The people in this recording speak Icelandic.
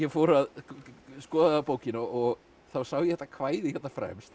skoðaði bókina og þá sá ég þetta kvæði hérna fremst